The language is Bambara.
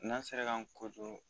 N'an sera k'an